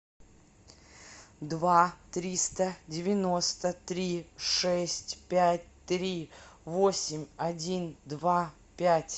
два триста девяносто три шесть пять три восемь один два пять